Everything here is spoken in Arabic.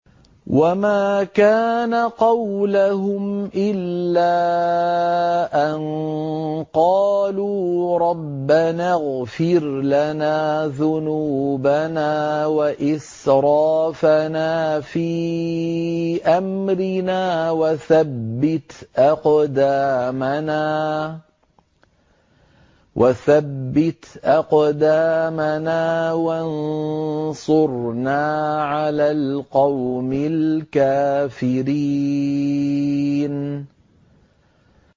وَمَا كَانَ قَوْلَهُمْ إِلَّا أَن قَالُوا رَبَّنَا اغْفِرْ لَنَا ذُنُوبَنَا وَإِسْرَافَنَا فِي أَمْرِنَا وَثَبِّتْ أَقْدَامَنَا وَانصُرْنَا عَلَى الْقَوْمِ الْكَافِرِينَ